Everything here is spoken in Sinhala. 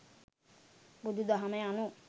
බුදු දහම යනු